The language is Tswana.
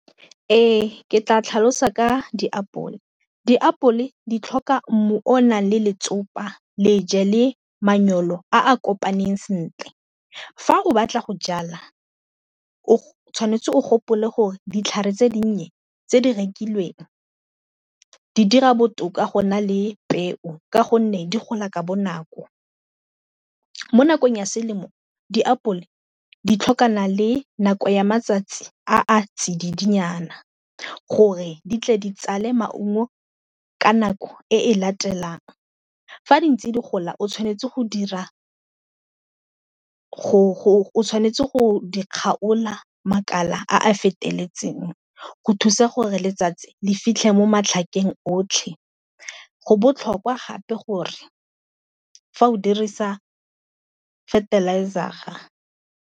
Ee ke tla tlhalosa ka diapole. Diapole di tlhoka mmu o o nang le letsopa, leje le manyolo aa kopaneng sentle, fa o batla go jala o tshwanetse o gopole gore ditlhare tse dinnye tse di rekilweng di dira botoka go na le peo ka gonne di gola ka bonako. Mo nakong ya selemo diapole di tlhokana le nako ya matsatsi a a tsididinyana gore di tle di tsale maungo ka nako e e latelang. Fa di ntse di gola o tshwanetse go dira tshwanetse go di kgaola makala a a feteletseng go thusa gore letsatsi le fitlhe mo matlhakeng otlhe go botlhokwa gape gore fa o dirisa fertilizer-a.